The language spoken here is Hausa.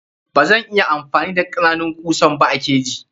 Bazan iya amfani da kananun kusan ba a keji.